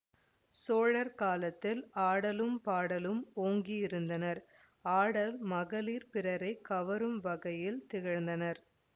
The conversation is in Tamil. சோழர் காலத்தில் ஆடலும் பாடலும் ஓங்கியிருந்தனஆடல் மகளிர் பிறரை கவரும் வகையில் திகழ்ந்தனர்